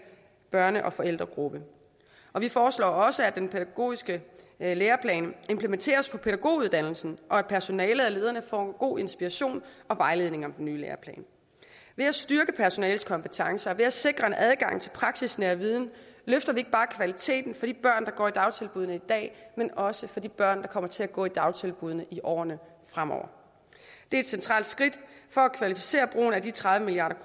børne og forældregruppe vi foreslår også at den pædagogiske læreplan implementeres på pædagoguddannelsen og at personalet og lederne får god inspiration og vejledning om den nye læreplan ved at styrke personalets kompetencer og ved at sikre en adgang til praksisnær viden løfter vi ikke bare kvaliteten for de børn der går i dagtilbuddene i dag men også for de børn der kommer til at gå i dagtilbuddene i årene fremover det er et centralt skridt for at kvalificere brugen af de tredive milliard